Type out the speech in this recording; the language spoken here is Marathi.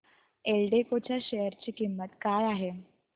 एल्डेको च्या शेअर ची किंमत काय आहे